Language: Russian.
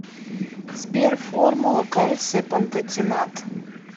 сбер формула кальция пантотенат